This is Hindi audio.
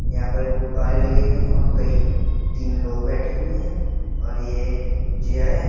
यहां पर गुब्बारे लगे हुइ हैं और कई तीन लोग बैठे हुए हैं और ये एक चेयर है।